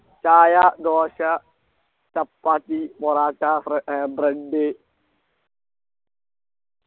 ചായ ദോശ ചപ്പാത്തി പൊറാട്ട ഫ്ര ഏർ Bread